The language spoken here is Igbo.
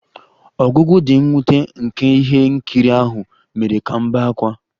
Ọgwụgwụ dị mwute nke ihe nkiri ahụ mere ka m bee ákwá